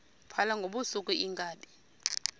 phala ngobusuku iinkabi